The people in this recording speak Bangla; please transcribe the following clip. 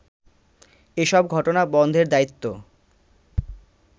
এসব ঘটনা বন্ধের দায়িত্ব